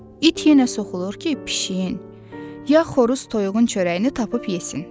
İt yenə soxulur ki, pişiyin, ya xoruz toyuğun çörəyini tapıb yesin.